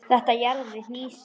Þetta jaðrar við hnýsni.